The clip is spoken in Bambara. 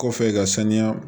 Kɔfɛ ka saniya